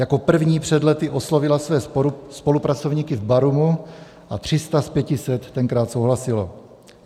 Jako první před lety oslovila své spolupracovníky v Barumu a 300 z 500 tenkrát souhlasilo.